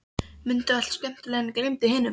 Mundu allt skemmtilegt en gleymdu hinu.